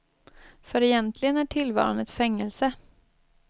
För egentligen är tillvaron ett fängelse.